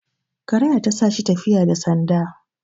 karaya ta sa shi tafiyabda sanda